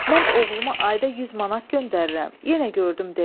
Mən oğluma ayda 100 manat göndərirəm, yenə gördüm demir.